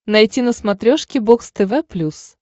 найти на смотрешке бокс тв плюс